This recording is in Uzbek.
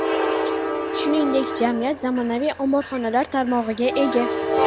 Shuningdek, jamiyat zamonaviy omborxonalar tarmog‘iga ega.